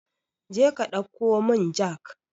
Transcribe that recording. Jeka ɗauko mun jak